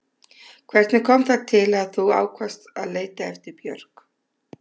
Hvernig kom það til að þú ákvaðst að leita eftir Björk?